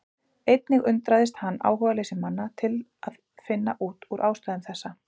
Einnig undraðist hann áhugaleysi manna til að finna út úr ástæðum þessa.